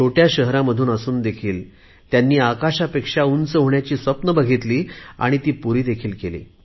छोट्या शहरामधून असून देखील त्यांनी आकाशापेक्षा उंच होण्याची स्वप्ने बघितली आणि पुरीदेखील केली